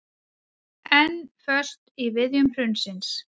Enn föst í viðjum hrunsins